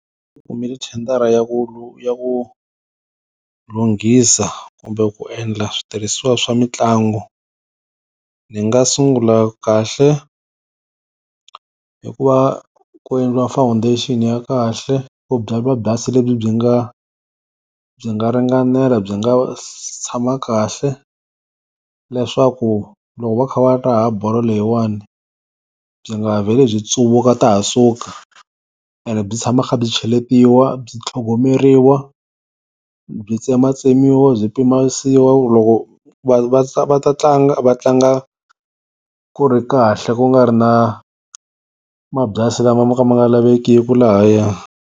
Ni kumile thendara ya ku ya ku lunghisa kumbe ku endla switirhisiwa swa mitlangu. Ni nga sungula kahle hikuva ku endliwa foundation ya kahle ku byariwa byasi lebyi byi nga byi nga ringanela byi nga tshama kahle, leswaku loko va kha va raha bolo leyiwani byi nga vheli byi tsuvuka ta ha suka, ene byi tshama kha byi cheletiwa byi tlhogomeriwa byi tsematsemiwa byi pimanisiwa ku loko va va ta va ta tlanga va tlanga ku ri kahle ku nga ri na mabyasi lama mo ka ma nga lavekiki lahaya.